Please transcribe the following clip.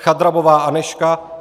Chadrabová Anežka